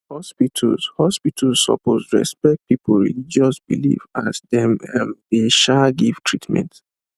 hospitals hospitals suppose respect people religious belief as dem um dey um give treatment